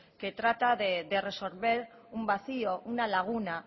que trata de resolver un vacío una laguna